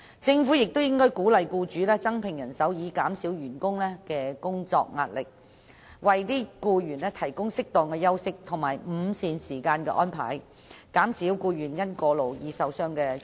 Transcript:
政府亦應鼓勵僱主增聘人手，以紓緩員工的工作壓力，並為僱員安排適當的休息和午膳時間，以免僱員因過勞而受傷或患病。